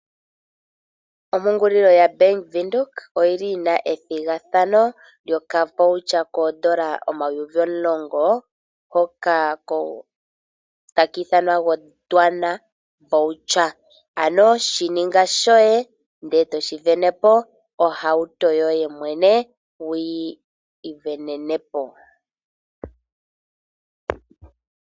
Ompungulilo yoBank Windhoek oyi li yi na ethigathano lyokavoucher koondola omayovi omulongo hoka taku ithanwa Gondwana voucher. Ano shi ninga shoye, ndele toshi sindana po, ohauto yoye mwene wuyi isindanene po.